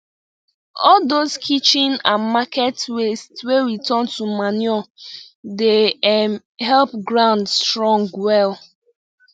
all those kitchen and market waste wey we turn to manure dey um help ground strong well